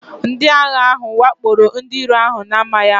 Ndị agha ahụ wakporo ndị iro ahụ n'amaghị ama